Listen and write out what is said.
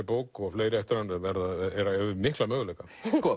bók og fleiri eftir hann hefur mikla möguleika